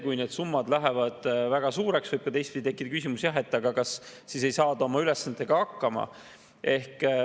Kui need summad lähevad väga suureks, võib aga teistpidi tekkida küsimus, kas siis ei saada oma ülesannetega hakkama.